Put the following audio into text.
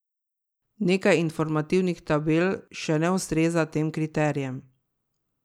Nekaj informativnih tabel še ne ustreza tem kriterijem.